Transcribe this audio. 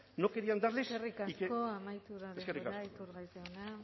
no querían darles y que eskerrik asko amaitu da denbora iturgaiz jauna eskerrik asko